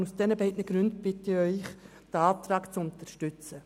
Aus diesen beiden Gründen bitte ich Sie, diesen Antrag zu unterstützen.